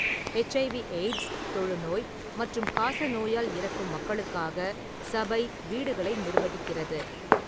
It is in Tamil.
எச்.ஐ.வி/எய்ட்ஸ், தொழுநோய் மற்றும் காசநோயால் இறக்கும் மக்களுக்காக சபை வீடுகளை நிர்வகிக்கிறது.